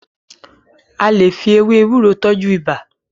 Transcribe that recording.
a lẹ fí ewé ewúro tọjú ibà.